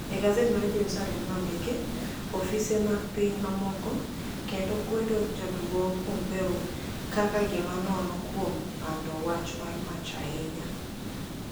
E gazet mar jeruSaalem nonidiki ofise mag piniy mamoko kenido kwedo jaduonig pompeo kaka gima nono kuom panido wacha marmach ahiniya